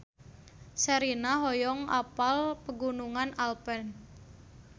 Sherina hoyong apal Pegunungan Alpen